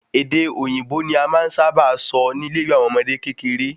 Èdè òyìnbó ni a máa n sáábà sọ ni ile ìwé àwọn ọmọdé kékeré